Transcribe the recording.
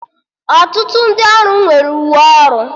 Ọtụtụ ndị ọrụ nwere uwe ọrụ